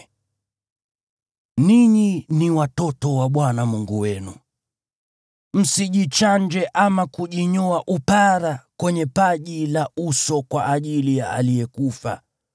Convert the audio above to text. Ninyi ni watoto wa Bwana Mungu wenu. Msijichanje ama kujinyoa upara kwenye paji la uso kwa ajili ya aliyekufa,